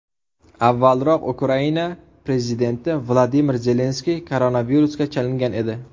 Avvalroq Ukraina prezidenti Vladimir Zelenskiy koronavirusga chalingan edi .